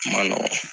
A ma nɔgɔ